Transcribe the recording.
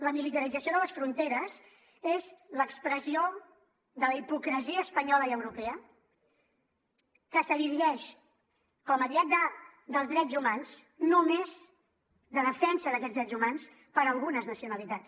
la militarització de les fronteres és l’expressió de la hipocresia espanyola i europea que s’erigeix com a ariet dels drets humans només de defensa d’aquests drets humans per a algunes nacionalitats